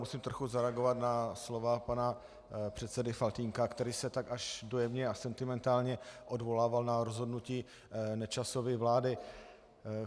Musím trochu zareagovat na slova pana předsedy Faltýnka, který se tak až dojemně a sentimentálně odvolával na rozhodnutí Nečasovy vlády.